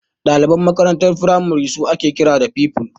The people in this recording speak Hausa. Daliban makarantar firamare su ake kira da Pupils.